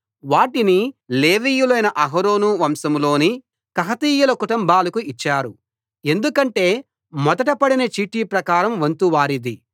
వాటిని లేవీయులైన అహరోను వంశంలోని కహాతీయుల కుటుంబాలకు ఇచ్చారు ఎందుకంటే మొదట పడిన చీటి ప్రకారం వంతు వారిది